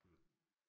Hm